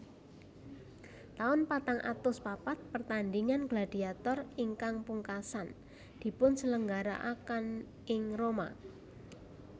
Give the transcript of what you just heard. Taun patang atus papat Pertandhingan gladiator ingkang pungkasan dipunselenggarakan ing Roma